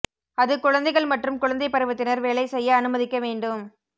அது குழந்தைகள் மற்றும் குழந்தை பருவத்தினர் வேலை செய்ய அனுமதிக்க வேண்டும்